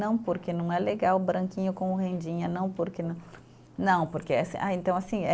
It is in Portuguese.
Não porque não é legal branquinho com rendinha, não porque não, não, porque essa, ah, então, assim eh